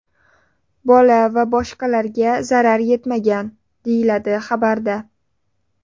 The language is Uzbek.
Bola va boshqalarga zarar yetmagan, deyiladi xabarda.